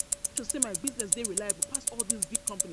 my business dey reliable pass all dese big companies.